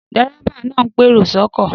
Dérébà náà ń pèrò sọ́kọ̀